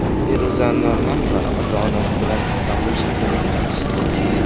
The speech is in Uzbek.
Feruza Normatova ota-onasi bilan Istanbul shahrini aylanmoqda.